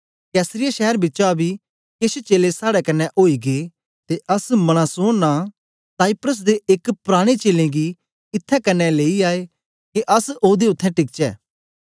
कैसरिया शैर बिचा बी केछ चेलें साड़े कन्ने ओई गै ते अस मनासोन नां साइप्रस दे एक पराने चेलें गी इत्थैं क्न्ने लेई आए के अस ओदे उत्थें टिकचै